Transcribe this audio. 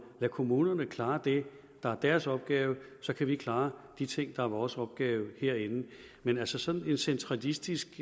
lade kommunerne klare det der er deres opgave så kan vi klare de ting der er vores opgave herinde men altså sådan en centralistisk